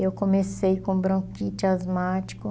E eu comecei com bronquite asmática.